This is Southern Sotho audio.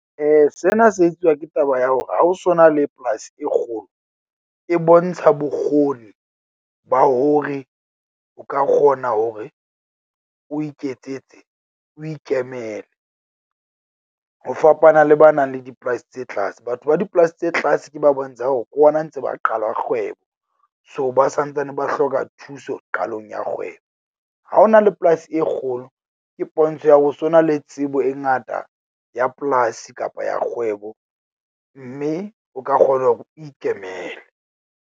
Sena se etsuwa ke taba ya hore ha o so na le polasi e kgolo, e bontsha bokgoni ba hore o ka kgona hore o iketsetse o ikemele. Ho fapana le ba nang le dipolasi tse tlase, batho ba dipolasi tse tlase ke ba bontshang hore ke hona ntse ba qala kgwebo. So, ba santsane ba hloka thuso qalong ya kgwebo. Ha ho na le polasi e kgolo, ke pontsho ya ho so na le tsebo e ngata ya polasi kapa ya kgwebo, mme o ka kgona hore o ikemele.